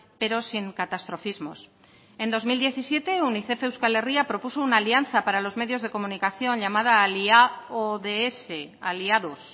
pero sin catastrofismos en dos mil diecisiete unicef euskal herria propuso una alianza para los medios de comunicación llamada aliaods aliados